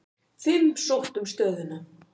Fimm sóttu um stöðuna.